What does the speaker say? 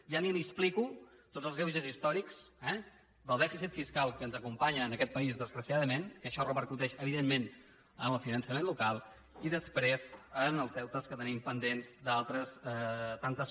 ja ni li explico tots els greuges històrics eh del dèficit fiscal que ens acompanya en aquest país desgraciadament que això repercuteix evidentment en el finançament local i després en els deutes que tenim pendents d’altres tantes